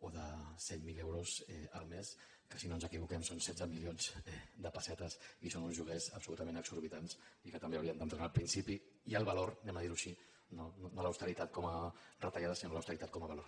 o de cent miler euros al mes que si no ens equivoquem són setze milions de pessetes i que són uns lloguers absolutament exorbitants i que també haurien d’entrar en el principi i el valor anem a dir ho així no l’austeritat com a retallada sinó l’austeritat com a valor